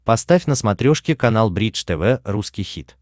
поставь на смотрешке канал бридж тв русский хит